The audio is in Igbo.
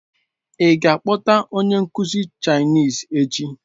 Ị ga-akpọta onye nkuzi Chinese echi?